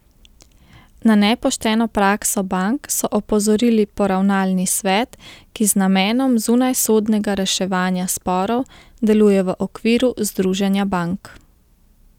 Na nepošteno prakso bank so opozorili Poravnalni svet, ki z namenom zunajsodnega reševanja sporov deluje v okviru Združenja bank.